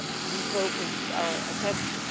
He focused our attention.